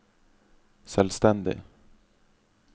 selvstendig